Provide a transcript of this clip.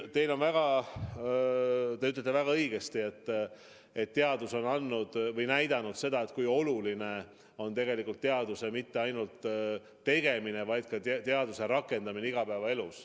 Te ütlesite väga õigesti, et elu on näidanud seda, kui oluline on tegelikult mitte ainult teaduse tegemine, vaid ka teaduse rakendamine igapäevaelus.